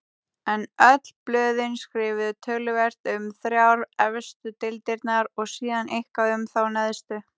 En öll blöðin skrifuðu töluvert um þrjár efstu deildirnar og síðan eitthvað um þá neðstu.